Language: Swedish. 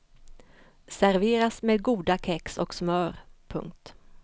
Serveras med goda kex och smör. punkt